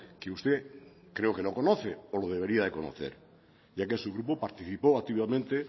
que usted creo que no conoce pero lo debería de conocer ya que su grupo participó activamente